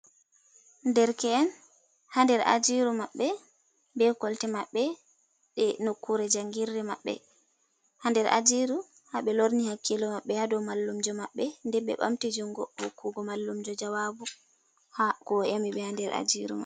Derke’en ha nder ajiru mabbe, be kolte mabbe, nder nokkure jangirde mabɓe ha nder ajiru habe lorni hakkilo maɓɓe hado mallumjo mabbe de be bamti jungo hokkugo mallumjo jawabu ko o nyami be ha nder ajiru man.